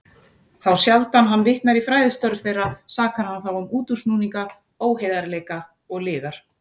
Þá sjaldan hann vitnar í fræðistörf þeirra, sakar hann þá um útúrsnúninga, óheiðarleika og lygar.